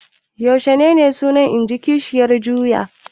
Yaushe suna? in ji kishiyar juya.